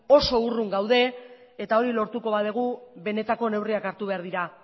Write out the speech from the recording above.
oso urrun gaude eta hori lortuko badugu benetako neurriak hartu behar dira